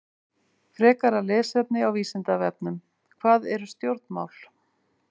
Frekara lesefni á Vísindavefnum: Hvað eru stjórnmál?